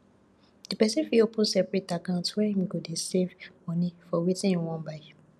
di person fit open separate account where im go dey save money for wetin im wan buy